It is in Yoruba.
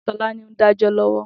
Tolani n dàjò lòwò